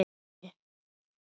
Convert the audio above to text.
og heilaga kirkju